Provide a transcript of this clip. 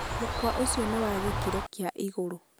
mũkawa ũcio nĩ wa gĩkĩro kĩa igũrũ